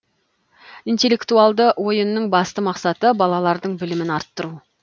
интеллектуалды ойынның басты мақсаты балалардың білімін арттыру